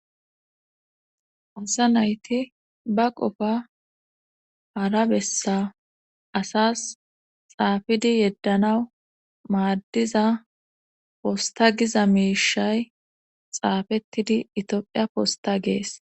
Asa nayti ba qofa harabessa asas xaafidi yeddana maaddiza posta giza meishay xaafettidi itiophiya posta gees